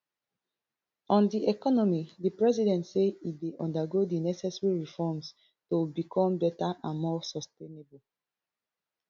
on di economy di president say e dey undergo di necessary reforms to become better and more sustainable